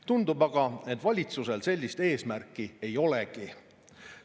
Tundub aga, et valitsusel sellist eesmärki ei olegi.